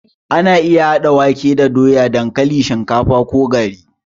Ana iya haɗa wake da doya, dankalin, shinkafa ko gari.